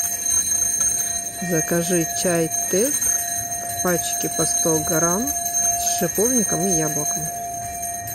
закажи чай тесс в пачке по сто грамм с шиповником и яблоком